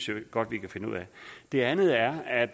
jeg godt vi kan finde ud af det andet er at